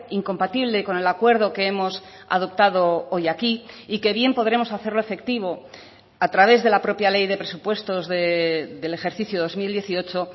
incompatible con el acuerdo que hemos adoptado hoy aquí y que bien podremos hacerlo efectivo a través de la propia ley de presupuestos del ejercicio dos mil dieciocho